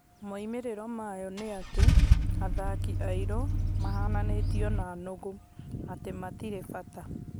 Moimĩrĩro mayo nĩ atĩ athaki airũ mahananitio na nũgũ: atĩ matirĩ bata.